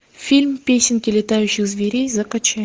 фильм песенки летающих зверей закачай